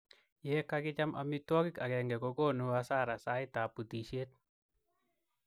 ye kakicham amitwangik akenge kokonu asara sait ab butishiet